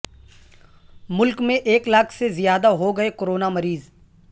ملک میں ایک لاکھ سے زیادہ ہوگئے کورونا مریض